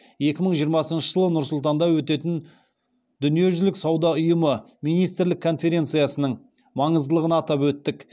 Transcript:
екі мың жиырмасыншы жылы нұр сұлтанда өтетін дүниежүзілік сауда ұйымы министрлік конференциясының маңыздылығын атап өттік